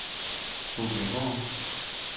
Solbjerggård